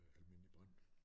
Almindelig brand